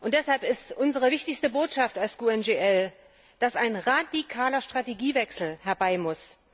Deshalb ist unsere wichtigste Botschaft als GUE NGL, dass ein radikaler Strategiewechsel herbeimuss.